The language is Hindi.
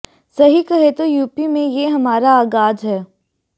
सही कहें तो यूपी में ये हमारा आगाज है